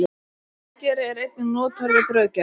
Ölgeri er einnig notaður við brauðgerð.